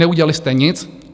Neudělali jste nic.